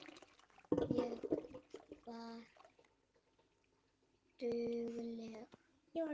Ég var dugleg.